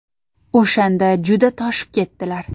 O‘shanda juda toshib ketdilar.